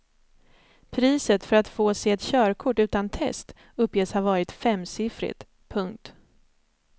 Priset för att få sig ett körkort utan test uppges ha varit femsiffrigt. punkt